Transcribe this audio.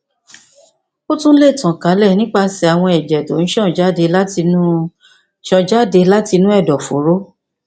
ó tún lè tàn kálẹ nípasẹ àwọn ẹjẹ tó ń ṣàn jáde látinú ṣàn jáde látinú ẹdọfóró